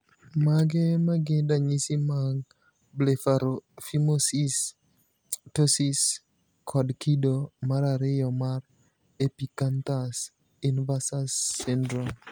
Mage magin ranyisi mag Blepharophimosis, ptosis, kod kido marariyo mar epicanthus inversus syndrome?